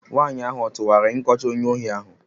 Nwaanyị ahụ ọ tụgharịrị nkọcha onye ohi ahu?